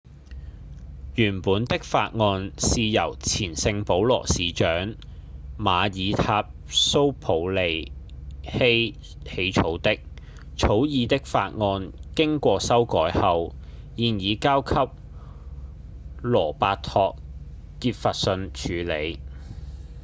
原本的法案是由前聖保羅市長瑪爾塔‧蘇普利希起草的草擬的法案經過修改後現已交給羅伯托‧傑弗遜處理